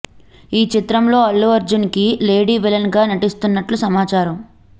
ఈ చిత్రంలో అల్లు అర్జున్ కి లేడీ విలన్ గా నటిస్తున్నట్లు సమాచారం